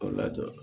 A lajɔ